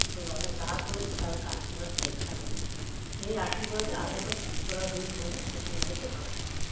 তোর বাবা যা করেছে তার একটা আশীর্বাদ ঠিক থাকবে সেই আশীর্বাদে আশা করছি তোরা দুই বোনে শশুর বাড়িতে ভালো থাকবি